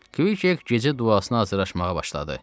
Kk gecə duasına hazırlaşmağa başladı.